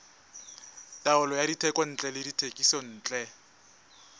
taolo ya dithekontle le dithekisontle